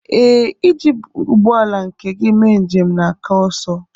ee, iji ụgbọ ala nke gị mee njem na-aka ọsọ